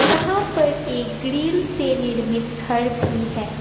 यहां पर एक ग्रिल से निर्मित घर भी है।